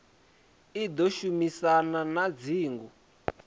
i ḓo shumisana na dzingo